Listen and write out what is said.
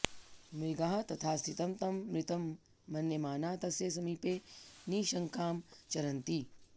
मृगाः तथास्थितं तं मृतं मन्यमानाः तस्य समीपे निशशङ्कां चरन्ति